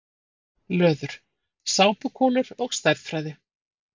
Löður: Sápukúlur og stærðfræði.